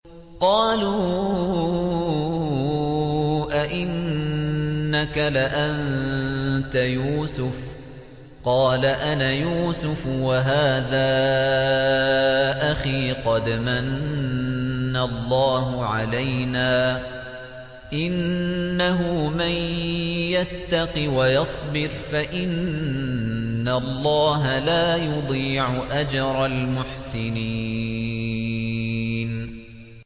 قَالُوا أَإِنَّكَ لَأَنتَ يُوسُفُ ۖ قَالَ أَنَا يُوسُفُ وَهَٰذَا أَخِي ۖ قَدْ مَنَّ اللَّهُ عَلَيْنَا ۖ إِنَّهُ مَن يَتَّقِ وَيَصْبِرْ فَإِنَّ اللَّهَ لَا يُضِيعُ أَجْرَ الْمُحْسِنِينَ